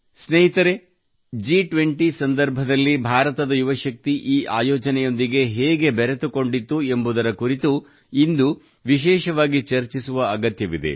ಸ್ನೇಹಿತರೇ ಜಿ20 ರ ಸಂದರ್ಭದಲ್ಲಿ ಭಾರತದ ಯುವ ಶಕ್ತಿ ಈ ಆಯೋಜನೆಯೊಂದಿಗೆ ಹೇಗೆ ಬೆರೆತುಕೊಂಡಿತ್ತು ಎಂಬುದರ ಕುರಿತು ಇಂದು ವಿಶೇಷವಾಗಿ ಚರ್ಚಿಸುವ ಅಗತ್ಯವಿದೆ